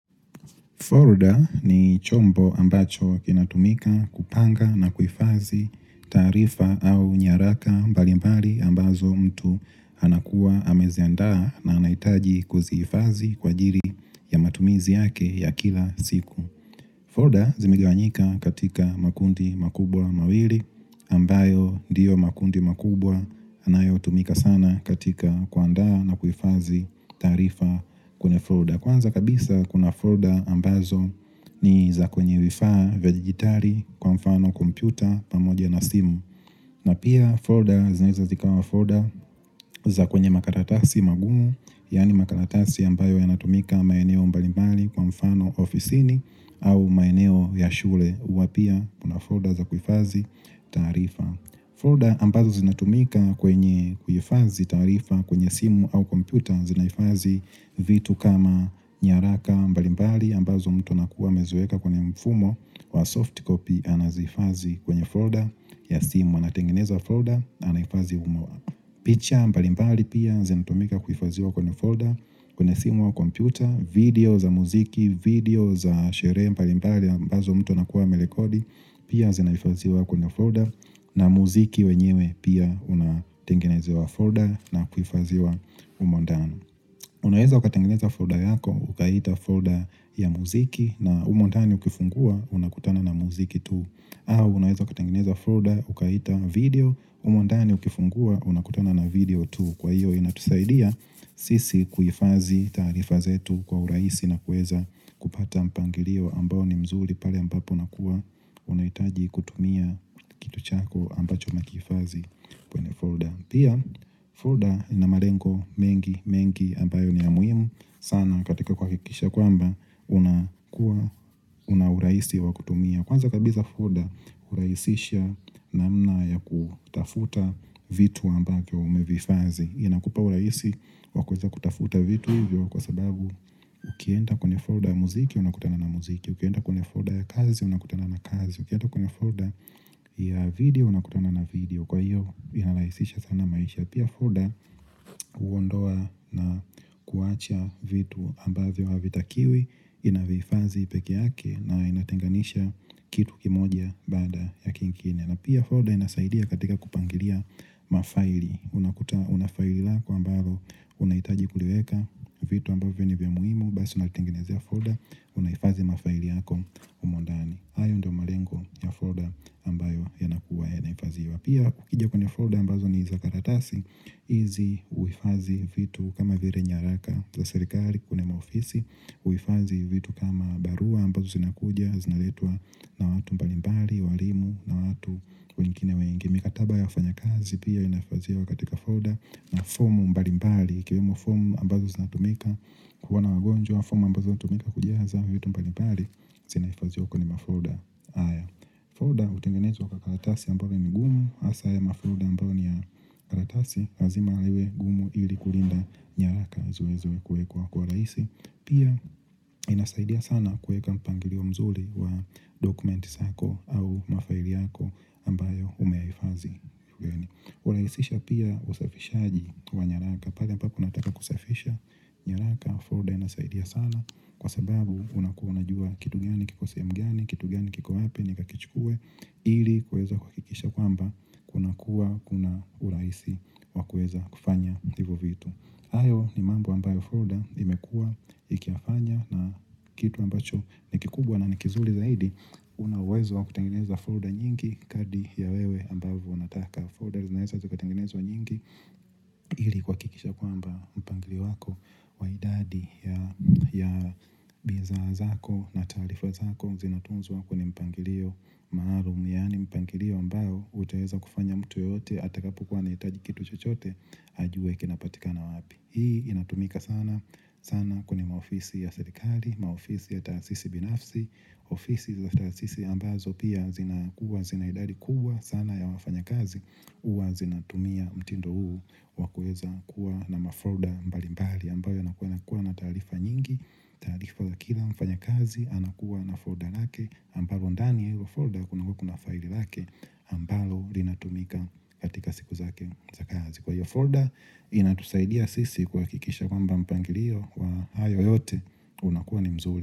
Florida ni chombo ambacho kinatumika kupanga na kuhifadhi taarifa au nyaraka mbalimbali ambazo mtu anakuwa ameziandaa na anaitaji kuzihifadhi kwa ajili ya matumizi yake ya kila siku. Folder zimigawanyika katika makundi makubwa mawili ambayo ndiyo makundi makubwa anayotumika sana katika kuandaa na kuhifadhi taarifa kwenye Folder. Kwanza kabisa kuna folder ambazo ni za kwenye vifaa vya digitali kwa mfano kompyuta pamoja na simu. Na pia folder zinaweza zikawa folder za kwenye makaratasi magumu, yani makaratasi ambayo yanatumika maeneo mbalimbali kwa mfano ofisini au maeneo ya shule. Huwa pia kuna folder za kuhifadhi taarifa. Folder ambazo zinatumika kwenye kuhifadhi taarifa kwenye simu au kompyuta zinahifadhi vitu kama nyaraka mbalimbali ambazo mtu nakuwa ameziweka kwenye mfumo wa soft copy anazihifadhi kwenye folder ya simu anatengeneza folder anahifadhi humo. Picha mbalimbali pia zinatumika kuhifadhiwa kwenye folder, kwenye simu au kompyuta, video za muziki, video za sherehe mbalimbali ambazo mtu anakuwa amerekodi pia zinahifadhiwa kwenye folder na muziki wenyewe pia unatengenezewa folder na kuhifadhiwa humo ndani. Unaweza ukatengineza folder yako ukaiita folder ya muziki na umo ndani ukiifungua unakutana na muziki tu au unaweza ukatengeneza folder ukaiita video umo ndani ukifungua unakutana na video tu Kwa hiyo inatusaidia sisi kuhifadhi taarifa zetu kwa urahisi na kuweza kupata mpangilio ambao ni mzuri pale ambapo unakuwa unahitaji kutumia kitu chako ambacho ukiifadhi kwenye folder Pia, folder inamalengo mengi mengi ambayo ni ya muhimu sana katika kuhakikisha kwamba unakuwa una urahisi wa kutumia. Kwanza kabisa folder hurahisisha namna ya kutafuta vitu ambavyo umevihifadhi. Inakupa urahisi wakuweza kutafuta vitu hivyo kwa sababu ukienda kwenye folder ya muziki unakutana na muziki. Ukienda kwenye folder ya kazi unakutana na kazi. Ukienda kwenye folder ya video unakutana na video. Kwa hiyo inarahisisha sana maisha Pia folder huondoa na kuwacha vitu ambavyo havitakiwi Inavihifadhi peke yake na inatenganisha kitu kimoja baada ya kingine na pia folder inasaidia katika kupangilia mafaili Unafaili lako ambalo unahitaji kuliweka vitu ambavyo ni vya muhimu Basi unalitenginezea folder unahifadhi mafaili yako humo ndani hayo ndio malengo ya folder ambayo yanakuwa yanahifadhiwa Pia ukija kwenye folder ambazo ni za karatasi, hizi huifadhi vitu kama vile nyaraka za serikali kwenye maofisi, huhifadhi vitu kama barua ambazo zinakuja, zinaletwa na watu mbalimbali, walimu na watu wengine wengi. Mikataba ya ufanya kazi pia inahifadhiwa wakatika folder na fomu mbalimbali, ikiwemo formu ambazo zinatumika, kukiwa na wagonjwa, fomu ambazo hutumika kujaza vitu mbalimbali, zinahifadhiwa kwenye ma folder haya. Folder hutengenezwa kwa karatasi ambayo ni gumu, hasa ya mafolder ambayo ni ya karatasi, lazima liwe gumu ili kulinda nyaraka zilizowekwa kwa raisi Pia inasaidia sana kuweka mpangilio mzuri wa dokumenti zako au mafaili yako ambayo umehifadhi hurahisisha pia usafishaji wa nyaraka, pala ambapo unataka kusafisha nyaraka, Folder inasaidia sana Kwa sababu unakuwa unajua kitu gani kiko sehemu gani, kitu gani kiko wapi nikakichukuwe ili kuweza kuhakikisha kwamba kuna kuwa kuna urahisi wakuweza kufanya hivyo vitu hayo ni mambo ambayo folder imekua ikiyafanya na kitu ambacho ni kikubwa na nikizuri zaidi Unauwezo wa kutengeneza folder nyingi kadri ya wewe ambavyo unataka Foder zinaweza zikatengenezwa nyingi ili kuhakikisha kwamba mpangilio wako wa idadi ya bidhaa zako na taarifu zako Zinatunzwa kwenye mpangilio maalumu Yani mpangilio ambao utaweza kufanya mtu yote Atakapokuwa anahitaji kitu chochote ajue kinapatikana wapi Hii inatumika sana sana kwenye maofisi ya serikali Maofisi ya taasisi binafsi ofisi za taasisi ambazo pia zina kuwa zina idadi kubwa sana ya wafanya kazi huwa zinatumia mtindo huu wakuweza kuwa na mafolder mbalimbali ambayo yanakuwa na taarifa nyingi tarifa za kila mfanya kazi anakuwa na folder lake ambalo ndani ya hilo folder kunakua kuna file lake ambalo linatumika katika siku zake za kazi Kwa hiyo folder inatusaidia sisi kuhakikisha kwamba mpangilio wa hayo yote unakuwa ni mzuri.